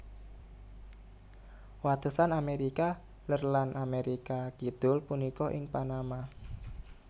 Watesan Amérika Lèr lan Amérika Kidul punika ing Panama